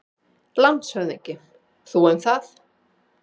LANDSHÖFÐINGI: Þú um það!